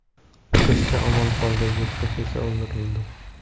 Qizcha omon qoldi, yirtqich esa o‘ldirildi.